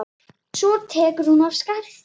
Svo tekur hún af skarið.